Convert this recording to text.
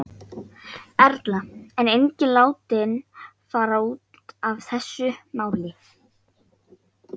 Erla: En enginn látinn fara út af þessu máli?